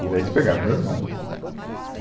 E daí eles pegaram o meu irmão.